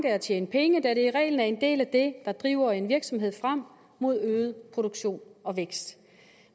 at tjene penge da det i reglen er en del af det der driver en virksomhed frem mod øget produktion og vækst